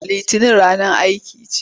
Litinin ranar aiki ce.